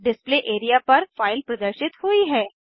display area पर file प्रदर्शित हुई है